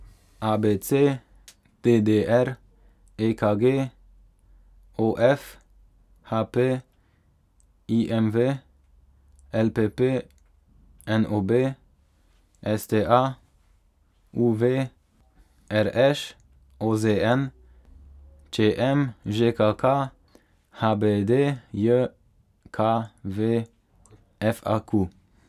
A B C; D D R; E K G; O F; H P; I M V; L P P; N O B; S T A; U V; R Š; O Z N; Č M; Ž K K; H B D J K V; F A Q.